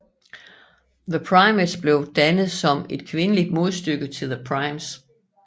The Primettes blev dannet som et kvindeligt modstykke til The Primes